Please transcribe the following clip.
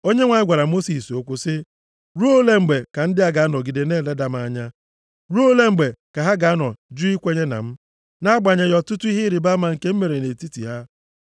Onyenwe anyị gwara Mosis okwu sị, “Ruo ole mgbe ka ndị a ga-anọgide na-eleda m anya? Ruo ole mgbe ka ha ga-anọ ju ikwenye na m, nʼagbanyeghị ọtụtụ ihe ịrịbama nke m mere nʼetiti ha.